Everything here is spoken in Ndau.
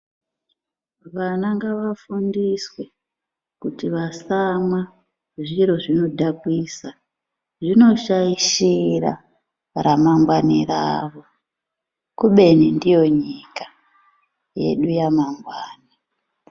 Vana ngavafundiswe kuti vasamwa zviro zvinodhakwisa .Zvinoshaishira ramangwani ravo kubeni ndiyo nyika yedu yamangwana .